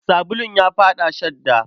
Sabulun ya faɗa shadda.